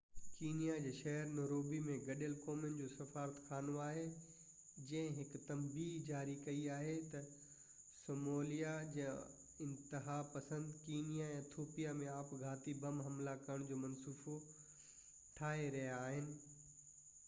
Kenya جي شهر Nairobi ۾ گڏيل قومن جو سفارتخانو آهي جنهن هڪ تنبيهہ جاري ڪئي آهي تہ صاموليا جا انتها پسند ڪينيا ۽ ايٿوپيا ۾ آپگهاتي بم حملا ڪرڻ جو منصوبو ٺاهي رهيا آهن